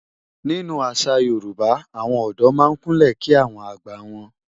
Nínú àṣà Yorùbá, àwọn ọ̀dọ́ máa ń Kúnlẹ̀ kí àwọn àgbà wọn.